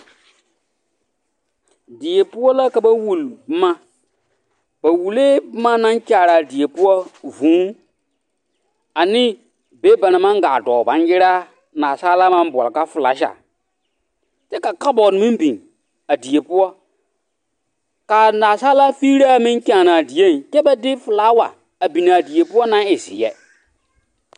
Die poɔ la ka ba wuli boma, ba wulee boma naŋ kyaaraa die poɔ, vūū ane be banaŋ maŋ gaa dɔɔ baŋgyeraa, naasaalaa naŋ boɔle ka filasa kyɛ ka kabɔɔte meŋ biŋ a die poɔ k'a naasaalaa figiraa meŋ kyaanaa dieŋ kyɛ ba de filaawa a biŋ a die poɔ naŋ e zeɛ.